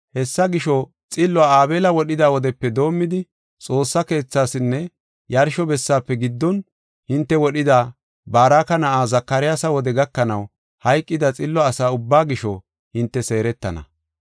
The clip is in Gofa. Hessa gisho, xilluwa Aabela wodhida wodepe doomidi, Xoossa Keethasinne yarsho bessaafe giddon hinte wodhida Baraka na7a Zakaryaasa wode gakanaw hayqida xillo asa ubba gisho, hinte seeretana.